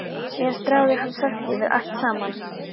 Síðan stráði hún salti yfir allt saman.